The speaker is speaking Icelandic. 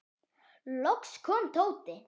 Loks kom Tóti.